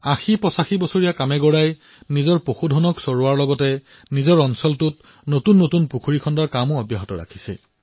৮০৮৫ বছৰীয়া কামেগোড়াই নিজৰ জন্তুসমূহ চৰাবলৈ নিয়াৰ লগতে নিজৰ ঠাইটুকুৰাত নতুন নতুন পুখুৰী খন্দাৰো দায়িত্ব গ্ৰহণ কৰিছে